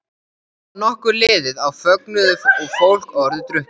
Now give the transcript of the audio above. Þá var nokkuð liðið á fögnuðinn og fólk orðið drukkið.